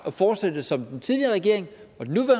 at fortsætte som den tidligere regering